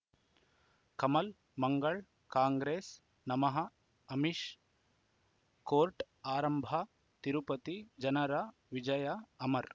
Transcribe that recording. ಕಮಲ್ ಮಂಗಳ್ ಕಾಂಗ್ರೆಸ್ ನಮಃ ಅಮಿಷ್ ಕೋರ್ಟ್ ಆರಂಭ ತಿರುಪತಿ ಜನರ ವಿಜಯ ಅಮರ್